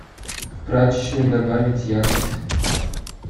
в прачечной добавить яркость